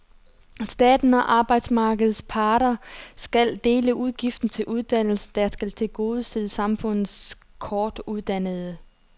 Staten og arbejdsmarkedets parter skal dele udgiften til uddannelsen, der skal tilgodese samfundets kortuddannede.